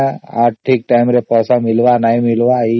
ଠିକ time ରେ ପଇସା ମିଳିବା ନ ମିଳିବା